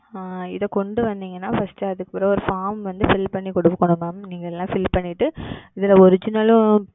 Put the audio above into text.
ஆஹ் இத கொண்டு வந்தீங்கனா First அது கூட ஒரு Form வந்து Fill பண்ணி கொடுக்கப்படும் Ma'am நீங்க எல்லாம் Fill பண்ணிட்டு இதுல Original லும்